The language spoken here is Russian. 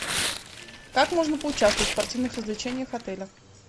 как можно поучаствовать в спортивных развлечениях отеля